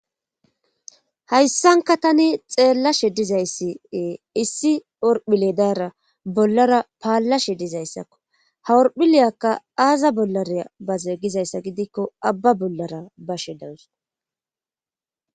hayssanka tani xeellashe dizayssi ee issi orphile dayara bollara paallashe dizayssakko ha orphileyakka aaza bollaraa bazee gizayssa gidikko abba bollara bashe dawus